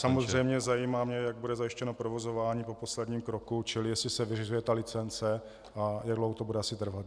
Samozřejmě zajímá mě, jak bude zajištěno provozování po posledním kroku, čili jestli se vyřizuje ta licence a jak dlouho to bude asi trvat.